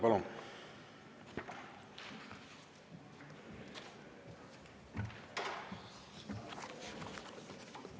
Palun!